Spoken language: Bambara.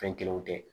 Fɛn kelenw tɛ